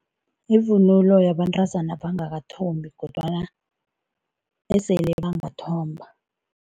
Yivunulo yabantazana angabangathombi kodwana esele bangathomba.